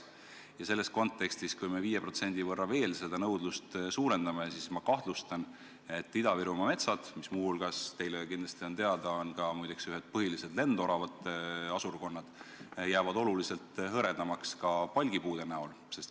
Kui me selles kontekstis veel 5% nõudlust suurendame, siis ma kahtlustan, et Ida-Virumaa metsad, kus – teile on see kindlasti teada – on ühed põhilised lendoravate asurkonnad, jäävad oluliselt hõredamaks ka palgipuudest.